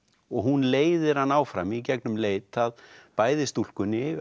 og hún leiðir hann áfram í gegnum leit að bæði stúlkunni